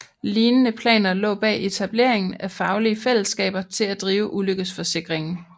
Lignende planer lå bag etableringen af faglige fællesskaber til at drive ulykkesforsikringen